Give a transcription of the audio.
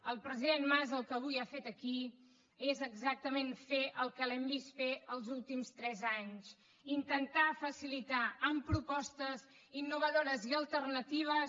el president mas el que avui ha fet aquí és exactament fer el que li hem vist fer els últims tres anys intentar facilitar amb propostes innovadores i alternatives